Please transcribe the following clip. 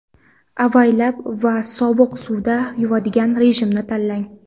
Avaylab va sovuq suvda yuvadigan rejimni tanlang.